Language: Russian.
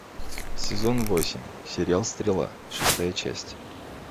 сезон восемь сериал стрела шестая часть